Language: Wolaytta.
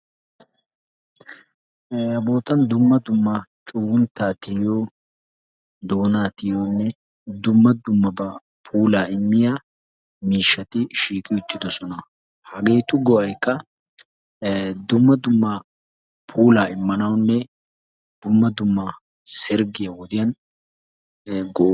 ee Ha bootan dumma dumma cugguntta tiyiyo doona tiyiyone dumma dummaba puulaa immiya miishshati shiiqi uttidosona. Hageetu go'aykka ee dumma dumma puulaa immanawune dumma dumma sergiya wodiyan ee gosona.